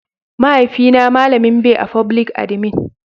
mahaifi na malamin be a foblik adimin